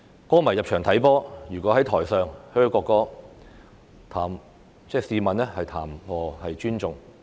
球迷入場參觀足球賽事，如果在席上"噓"國歌，試問談何尊重？